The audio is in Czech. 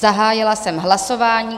Zahájila jsem hlasování.